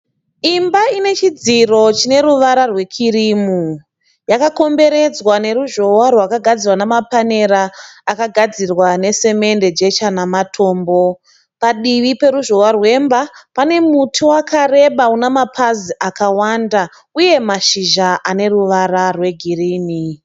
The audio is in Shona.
Imba ine chidziro chine ruvara rwekirimu. Yakakomberedzwa neruzhowa rwakagadzirwa nemapanera akagadzirwa nesemende ,jecha nematombo. Padivi peruzhozwa rwemba pane muti wakareba unamapazi akawanda, uye mashizha ane ruvara rwegirini